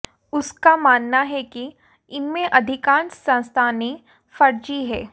उसका मानना है कि इनमें अधिकांश संस्थानें फर्जी हैं